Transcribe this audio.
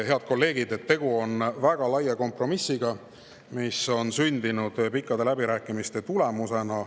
Head kolleegid, tegu on väga laia kompromissiga, mis on sündinud pikkade läbirääkimiste tulemusena.